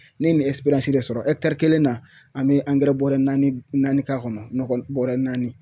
Ne ye nin de sɔrɔ kelen na an bɛ bɔrɛ naani naani k'a kɔnɔ nɔgɔ bɔrɛ naani